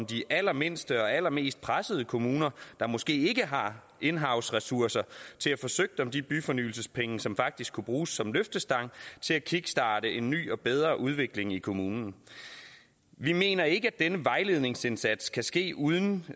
de allermindste og allermest pressede kommuner der måske ikke har in house ressourcer til at få søgt om de byfornyelsespenge som faktisk kunne bruges som løftestang til at kickstarte en ny og bedre udvikling i kommunen vi mener ikke at denne vejledningsindsats kan ske uden